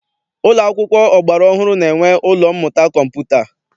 Ụlọ akwụkwọ ọgbara ọhụrụ na-enwe ụlọ mmụta kọmputa.